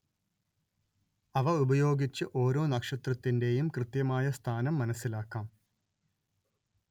അവയുപയോഗിച്ച് ഒരോ നക്ഷത്രത്തിന്റെയും കൃത്യമായ സ്ഥാനം മനസ്സിലാക്കാം